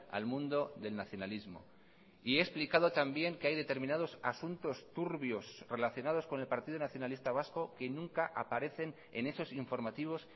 al mundo del nacionalismo y he explicado también que hay determinados asuntos turbios relacionados con el partido nacionalista vasco que nunca aparecen en esos informativos